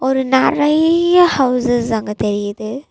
ஒரு நெறைய ஹவுஸஸ் அங்க தெரியிது.